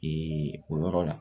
Ee o yɔrɔ la